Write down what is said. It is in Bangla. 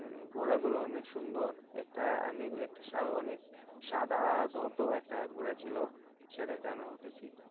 উম ঘোড়া গুলো অনেক সুন্দর একটা আমি একটা সাদা ধপধপে একটা ঘোড়া ছিল সেটাতে আমি উঠেছি।